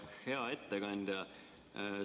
Hea ettekandja!